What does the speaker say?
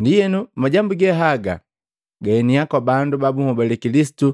Ndienu, majambu ge haga gaeniya kwa bandu babuhobale Kilisitu